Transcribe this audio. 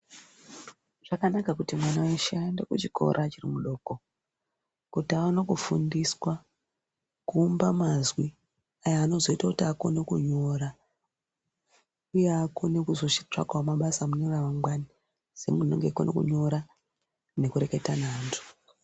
Zvakana kuti mwana weshe aende kuchikora achiri mudiko kuti aone kufundiswa kuumba mazwi aya anozoita kuti akone kunyora uye akone kuzotsvakawo mabasa mune ramangwani semunhu unenge eikona kunyora nekureketa neantu.